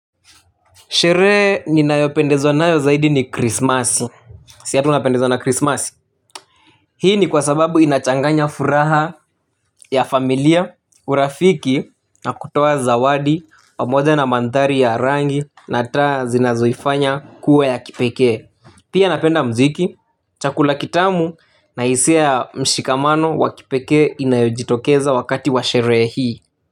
Sherehe ninayopendezwa nayo zaidi ni krismasi. Si hata unapendezwa na krismasi. Hii ni kwa sababu inachanganya furaha ya familia urafiki na kutoa zawadi pamoja na mandhari ya rangi na taa zinazoifanya kuwa ya kipekee. Pia napenda mziki, chakula kitamu na hisia ya mshikamano wa kipekee inayojitokeza wakati wa sherehe hii.